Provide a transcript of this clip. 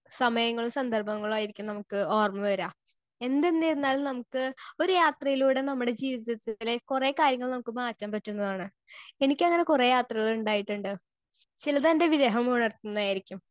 speaker 2 സമയങ്ങളും സന്ദർഭങ്ങളായിരിക്കും നമ്മുക്ക് ഓർമ വര എന്തെന്ന് ചെന്നാലും നമ്മുക്ക് ഒരു യാത്രയിലൂടെ നമ്മടെ ജീവിതത്തിലെ കൊറേ കാര്യങ്ങൾ നമ്മുക്ക് മാറ്റം പറ്റുന്നതാണ് എനിക്ക് അങ്ങനെ കൊറേ യാത്രകളിണ്ടായിട്ടിണ്ട് ചിലത് എൻ്റെ വിരഹം ഉണർത്തുന്നായിരിക്കും